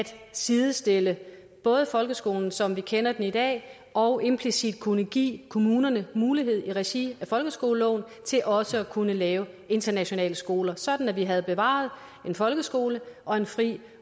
sidestille folkeskolen som vi kender den i dag og implicit at kunne give kommunerne mulighed for i regi af folkeskoleloven også at kunne lave internationale skoler sådan at vi havde bevaret en folkeskole og en fri